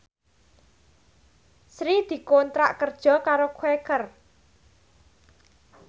Sri dikontrak kerja karo Quaker